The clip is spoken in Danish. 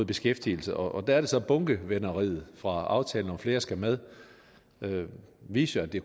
beskæftigelse og der er det så at bunkevenderiet fra aftalen flere skal med jo viste at det